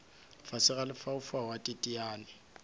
fase a lefaufau a teteane